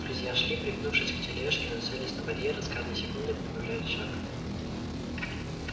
друзья шли пригнувшись к тележке нацелясь на барьер и с каждой секундой прибавляли шаг